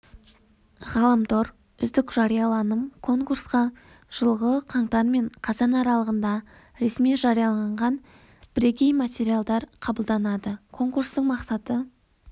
ғаламтор үздік жарияланым конкурсқа жылғы қаңтар мен қазан аралығында ресми жарияланған бірегей материалдар қабылданады конкурстың мақсаты